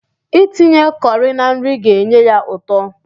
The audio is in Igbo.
Itinye kọri na nri ga-enye ya ụtọ.